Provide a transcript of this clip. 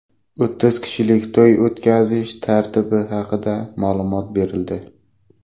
O‘ttiz kishilik to‘y o‘tkazish tartibi haqida ma’lumot berildi.